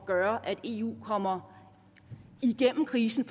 gøre at eu kommer igennem krisen